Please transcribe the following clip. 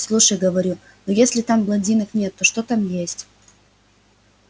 слушай говорю ну если там блондинок нет то что там есть